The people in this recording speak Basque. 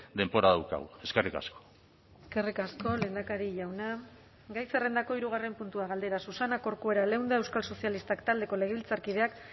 denbora daukagu eskerrik asko eskerrik asko lehendakari jauna gai zerrendako hirugarren puntua galdera susana corcuera leunda euskal sozialistak taldeko legebiltzarkideak